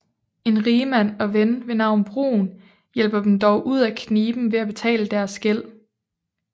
En rigmand og ven ved navn Brun hjælper dem dog ud af kniben ved at betale deres gæld